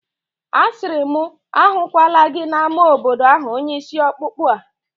Asịrị m mụ ahụkwala gị n'ámá obodo ahụ onye ishi ọkpụkpụ a!